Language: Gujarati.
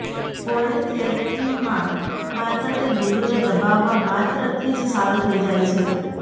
પોઈન્ટ થેરપીમાં માત્ર તે બિંદુને દબાવવા માત્રથી જ સારું થઈ જાય છે